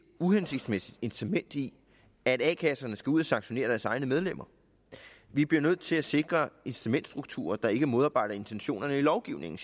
uhensigtsmæssigt incitament i at a kasserne skal ud og sanktionere deres egne medlemmer vi bliver nødt til at sikre incitamentsstrukturer der ikke modarbejder intentionerne i lovgivningen